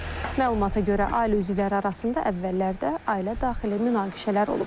Məlumata görə ailə üzvləri arasında əvvəllərdə ailə daxili münaqişələr olub.